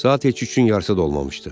Saat heç üçün yarısı da olmamışdı.